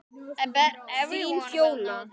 Þín, Fjóla.